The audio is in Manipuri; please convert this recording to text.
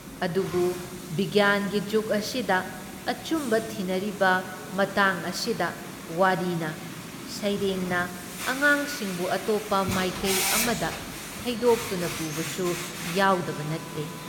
ꯑꯗꯨꯕꯨ ꯕꯤꯒ꯭ꯌꯥꯟꯒꯤ ꯖꯨꯒ ꯑꯁꯤꯗ ꯑꯆꯨꯝꯕ ꯊꯤꯅꯔꯤꯕ ꯃꯇꯥꯡ ꯑꯁꯤꯗ ꯋꯥꯔꯤꯅ, ꯁꯩꯔꯦꯡꯅ ꯑꯉꯥꯡꯁꯤꯡꯕꯨ ꯑꯇꯣꯞꯄ ꯃꯥꯏꯀꯩ ꯑꯃꯗ ꯊꯩꯗꯣꯛꯇꯨꯅ ꯄꯨꯕꯁꯨ ꯌꯥꯎꯗꯕ ꯅꯠꯇꯦ ꯫